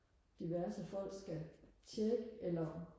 diverse folk skal tjekke eller